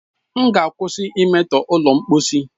M ga-akwụsị imetọsị ụlọ mposi.